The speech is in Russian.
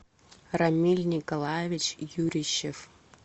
рамиль николаевич юрищев